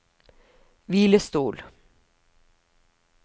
hvilestol